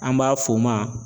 An b'a f'o ma